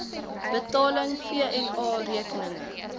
betaling vna rekeninge